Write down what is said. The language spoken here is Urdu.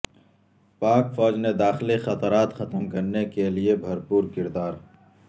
پاک فوج نے داخلی خطرات ختم کرنے کے لیے بھرپور کردار